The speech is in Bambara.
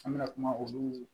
An bɛna kuma olu